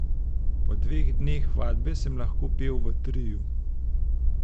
Po dveh dneh vadbe sem lahko pel v triu.